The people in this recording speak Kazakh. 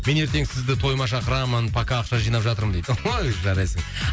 мен ертең сізді тойыма шақырамын пока ақша жинап жатырмын дейді ой жарайсың